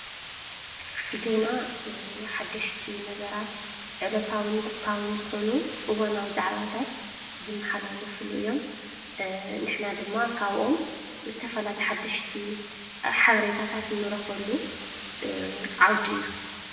ዜና ሓደሽቲ ነገራት ዕለታዉን ወቅታውን ዝኾኑ እዋናዊ ዛዕባታት ዝመሓላለፍሉ እዮም። ንሕና ድማ ካብቶም ዝተፈላለዩ ሓደሽቲ ሓበሬታታት ንረክበሉ ዓውዲ እዩ።